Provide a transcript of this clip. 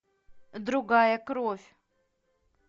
другая кровь